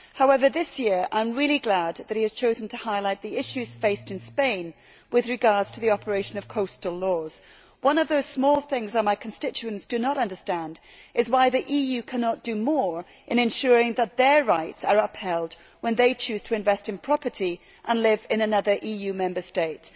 However, this year I am really glad that he has chosen to highlight the issues faced in Spain with regard to the operation of coastal laws. One of the small things my constituents do not understand is why the EU cannot do more in ensuring that their rights are upheld when they choose to invest in property and live in another EU Member State.